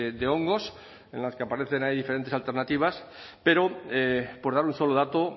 de hongos en las que aparecen ahí diferentes alternativas pero por dar un solo dato